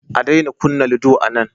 A daina kunna ludo anan